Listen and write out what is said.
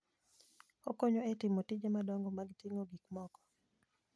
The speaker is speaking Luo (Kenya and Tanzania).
Okonyo e timo tije madongo mag ting'o gik moko.